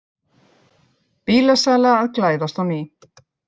Bílasala að glæðast á ný